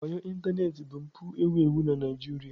Wayo ịntanetị bụ mpụ ewu ewu na Nigeria.